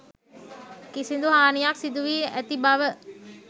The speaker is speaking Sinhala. කිසිදු හානියක් සිදුවී ඇති බව